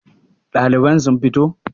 Daliban sun fito?